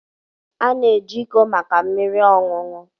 A na-eji iko maka mmiri ọṅụṅụ.